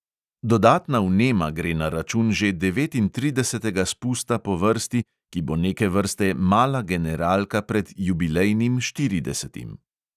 Dodatna vnema gre na račun že devetintridesetega spusta po vrsti, ki bo neke vrste mala generalka pred jubilejnim štiridesetim.